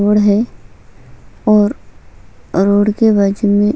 road है और road के बाजू में--